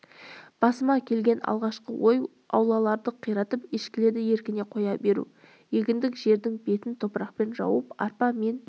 басыма келген алғашқы ой аулаларды қиратып ешкілерді еркіне қоя беру егіндік жердің бетін топырақпен жауып арпа мен